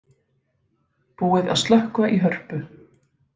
Búið að slökkva í Hörpu